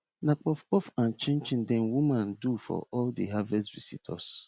na puff puff and chin chin dem woman do for all the harvest visitors